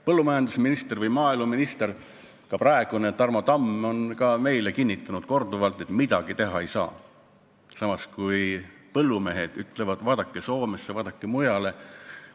Praegune maaeluminister Tarmo Tamm on ka meile korduvalt kinnitanud, et midagi teha ei saa, samas ütlevad põllumehed, et vaadake Soome ja mujale.